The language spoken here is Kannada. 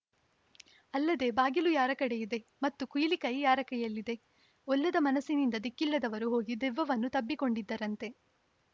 ಅಲ್ಲದೆ ಬಾಗಿಲು ಯಾರ ಕಡೆ ಇದೆ ಮತ್ತು ಕೀಲಿಕೈ ಯಾರ ಕೈಯಲ್ಲಿದೆ ಒಲ್ಲದ ಮನಸ್ಸಿನಿಂದ ದಿಕ್ಕಿಲ್ಲದವರು ಹೋಗಿ ದೆವ್ವವನ್ನು ತಬ್ಬಿಕೊಂಡಿದ್ದರಂತೆ